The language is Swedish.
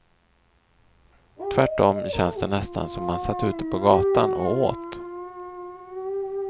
Tvärtom känns det nästan som man satt ute på gatan och åt.